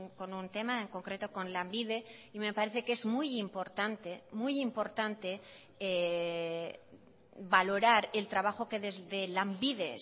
con un tema en concreto con lanbide y me parece que es muy importante muy importante valorar el trabajo que desde lanbide